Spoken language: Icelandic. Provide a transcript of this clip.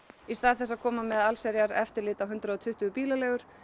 í stað þess að koma með allsherjareftirlit á hundrað og tuttugu bílaleigur